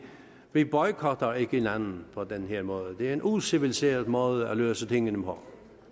vi boykotter ikke hinanden på den her måde det er en uciviliseret måde at løse tingene på